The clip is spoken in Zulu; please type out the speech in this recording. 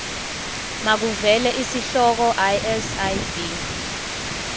makuvele isihloko isib